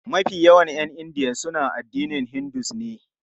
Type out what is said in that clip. Mafi yawan 'yan India suna addinin Hinduism ne.